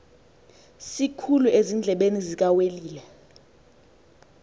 sikhulu ezindlebeni zikawelile